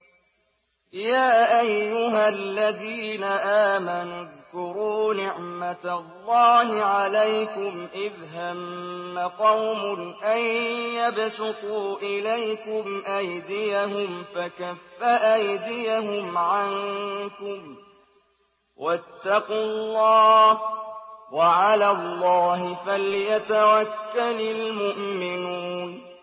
يَا أَيُّهَا الَّذِينَ آمَنُوا اذْكُرُوا نِعْمَتَ اللَّهِ عَلَيْكُمْ إِذْ هَمَّ قَوْمٌ أَن يَبْسُطُوا إِلَيْكُمْ أَيْدِيَهُمْ فَكَفَّ أَيْدِيَهُمْ عَنكُمْ ۖ وَاتَّقُوا اللَّهَ ۚ وَعَلَى اللَّهِ فَلْيَتَوَكَّلِ الْمُؤْمِنُونَ